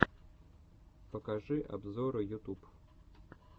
покажи обзоры ютуб